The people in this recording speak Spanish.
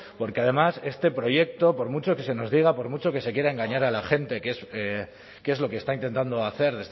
porque además este proyecto por mucho que se nos diga por mucho que se quiera engañar a la gente que es lo que está intentando hacer